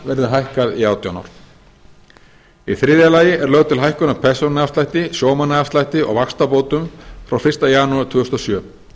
verði hækkað í átján ár í þriðja lagi er lögð til hækkun á persónuafslætti sjómannaafslætti og vaxtabótum frá fyrsta janúar tvö þúsund og sjö